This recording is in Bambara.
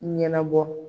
Ɲɛnabɔ